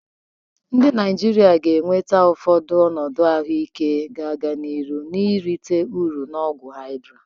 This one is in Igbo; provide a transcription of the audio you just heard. Ndị Naijiria nwere ụfọdụ ọnọdụ ahụike ga-aga n'ihu na-erite uru na ọgwụ Hydrea.